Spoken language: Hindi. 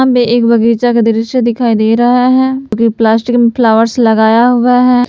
एक बगीचा का दृश्य दिखाई दे रहा हैं प्लास्टिक फ्लावर्स लगाया हुआ हैं।